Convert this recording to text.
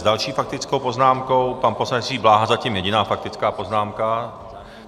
S další faktickou poznámkou pan poslanec Jiří Bláha, zatím jediná faktická poznámka.